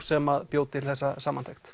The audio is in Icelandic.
sem bjó til þessa samantekt